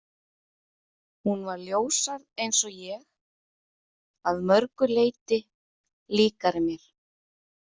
Hún var ljóshærð eins og ég, að mörgu leyti líkari mér.